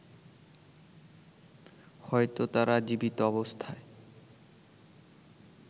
হয়তো তারা জীবিত অবস্থায়